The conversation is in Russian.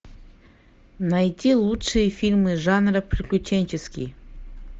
найти лучшие фильмы жанра приключенческий